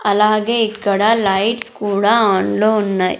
అలాగే ఇక్కడ లైట్స్ కూడా ఆన్ లో ఉన్నయ్.